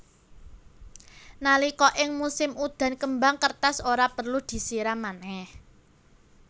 Nalika ing musim udan kembang kertas ora perlu disiram manèh